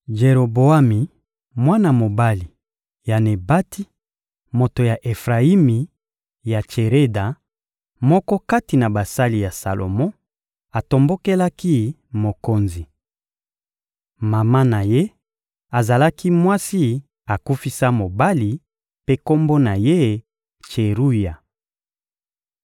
Jeroboami, mwana mobali ya Nebati, moto ya Efrayimi ya Tsereda, moko kati na basali ya Salomo, atombokelaki mokonzi. Mama na ye azalaki mwasi akufisa mobali, mpe kombo na ye: Tseruya.